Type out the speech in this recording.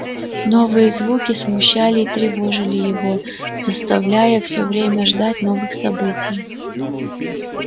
новые звуки смущали и тревожили его заставляя всё время ждать новых событий